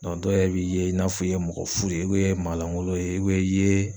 dɔw yɛrɛ b'i ye i n'a fɔ i ye mɔgɔ fu de ye ye maa lankolon ye i ye